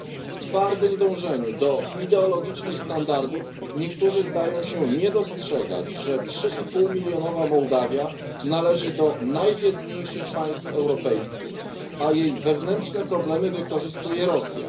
W twardym dążeniu do ideologicznych standardów niektórzy zdają się nie dostrzegać, że trzyipółmilionowa Mołdawia należy do najbiedniejszych państw europejskich, a jej wewnętrzne problemy wykorzystuje Rosja.